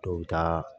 Dɔw bɛ taa